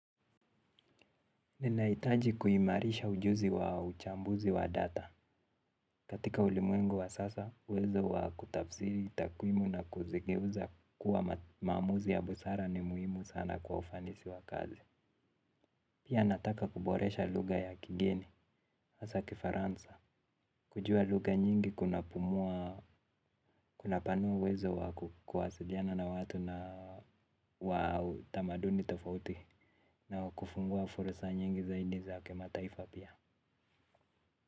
Ninaitaji kuhimarisha ujuzi wa uchambuzi wa data. Katika ulimwengu wa sasa, uwezo wa kutafsiri takwimu na kuzigeuza kuwa maamuzi ya busara ni muhimu sana kwa ufanisi wa kazi. Pia, nataka kuboresha lugha ya kigeni, hasa Kifaransa. Kujua lugha nyingi kunapanua uwezo wa kuwasiliana na watu wa tamaduni tofauti. Na kufungua fursa nyingi zaidi za kimataifa pia.